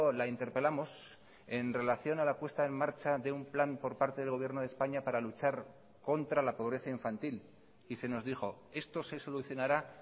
la interpelamos en relación a la puesta en marcha de un plan por parte del gobierno de españa para luchar contra la pobreza infantil y se nos dijo esto se solucionará